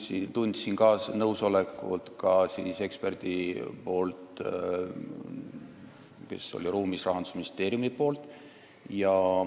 Ma tundsin ka selle Rahandusministeeriumi eksperdi nõusolekut, kes oli ruumis.